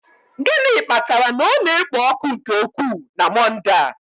Gịnị kpatara na ọ na-ekpo ọkụ nke ukwuu na Monde a?